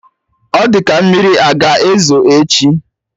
Ọ di ka mmiri a ga ezo echi